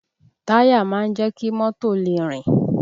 Táyà máa ń jẹ́ kí mọ́tò lè rìn